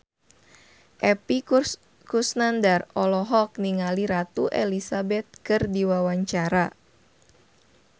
Epy Kusnandar olohok ningali Ratu Elizabeth keur diwawancara